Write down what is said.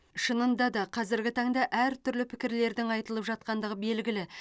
шынында да қазіргі таңда әр түрлі пікірлердің айтылып жатқандығы белгілі